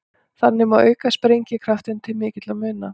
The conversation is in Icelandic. Þannig má auka sprengikraftinn til mikilla muna.